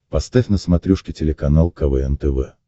поставь на смотрешке телеканал квн тв